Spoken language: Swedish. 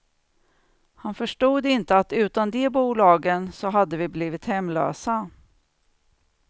Han förstod inte att utan de bolagen, så hade vi blivit hemlösa.